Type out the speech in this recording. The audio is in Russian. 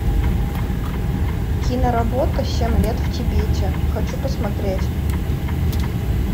киноработа семь лет в тибете хочу посмотреть